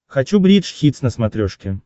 хочу бридж хитс на смотрешке